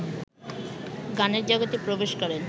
গানের জগতে প্রবেশ করেন